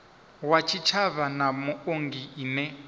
wa tshitshavha na muongi ine